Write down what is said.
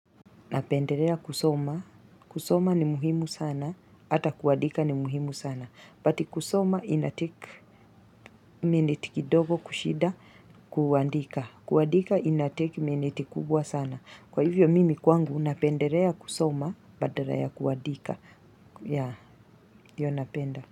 Napendelea kusoma. Kusoma ni muhimu sana. Hata kuandika ni muhimu sana. But kusoma inatake minute kidogo kushida kuandika. Kuandika inatake minute kubwa sana. Kwa hivyo mimi kwangu napendelea kusoma badala kuandika ya hyo napenda.